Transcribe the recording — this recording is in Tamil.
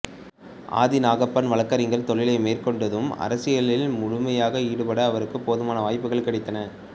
ஆதி நாகப்பன் வழக்கறிஞர் தொழிலை மேற்கொண்டதும் அரசியலில் முழுமையாக ஈடுபட அவருக்குப் போதுமான வாய்ப்புகள் கிடைத்தன